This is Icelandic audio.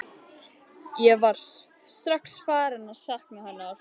Ég er strax farinn að sakna hennar.